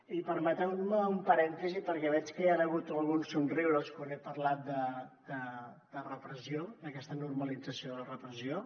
i permeteu me un parèntesi perquè veig que hi han hagut alguns somriures quan he parlat de repressió d’aquesta normalització de la repressió